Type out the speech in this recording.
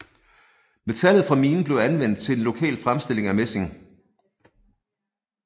Metallet fra minen blev anvendt til en lokal fremstilling af messing